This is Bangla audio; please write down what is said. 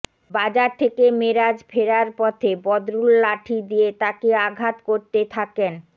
বাজার থেকে মেরাজ ফেরার পথে বদরুল লাঠি দিয়ে তাকে আঘাত করতে থাকেন